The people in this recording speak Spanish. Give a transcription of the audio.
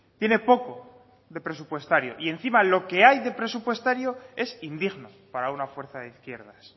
tiene poco de presupuestario y encima lo que hay de presupuestario es indigno para una fuerza de izquierdas